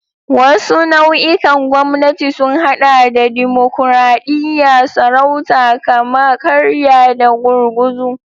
Wasu nau'ikan gwamnati sun haɗa da dimokuradiyya, sarauta, kama-karya, da gurguzu.